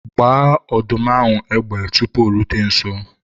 gbaa ọdụm ahụ égbè tupu o rute nso!